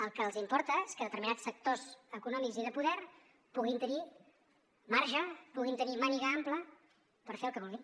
el que els importa és que determinats sectors econòmics i de poder puguin tenir marge puguin tenir màniga ampla per fer el que vulguin